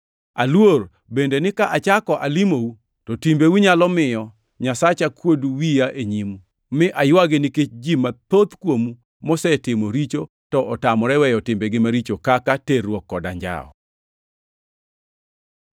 Aluor bende ni ka achako alimou, to timbeu nyalo miyo Nyasacha kuod wiya e nyimu, mi aywagi nikech ji mathoth kuomu mosetimo richo to otamore weyo timbegi maricho kaka, terruok kod anjawo.